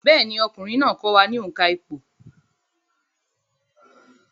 Bẹ́ẹ̀ni, ọkùnrin náà kọ́ wa ní òǹkà ìpò